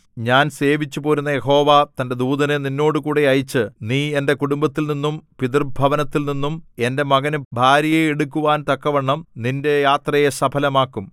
ഞാൻ സേവിച്ചുപോരുന്ന യഹോവ തന്റെ ദൂതനെ നിന്നോടുകൂടെ അയച്ച് നീ എന്റെ കുടുംബത്തിൽനിന്നും പിതൃഭവനത്തിൽ നിന്നും എന്റെ മകനു ഭാര്യയെ എടുക്കുവാൻ തക്കവണ്ണം നിന്റെ യാത്രയെ സഫലമാക്കും